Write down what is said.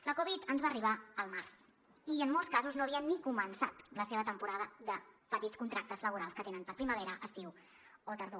la covid ens va arribar al març i en molts casos no havien ni començat la seva temporada de petits contractes laborals que tenen per a primavera estiu o tardor